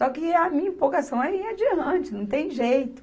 Só que a minha empolgação é ir adiante, não tem jeito.